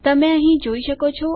તમે અહીં જોઈ શકો છો